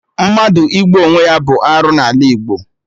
Mmadụ igbu onwe ya bụ arụ n'ala Igbo